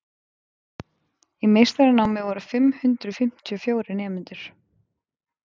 í meistaranámi voru fimm hundruð fimmtíu og fjórir nemendur